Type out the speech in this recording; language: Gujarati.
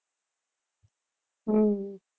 હમ